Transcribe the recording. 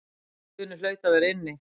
Guðni hlaut að vera inni.